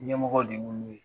Ɲɛmɔgɔw de b'ulu ye.